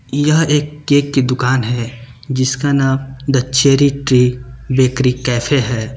यह एक केक की दुकान है जिसका नाम the Cherry Tree Bakery Cafe है।